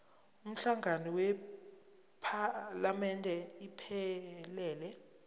umhlangano wephalamende iphelele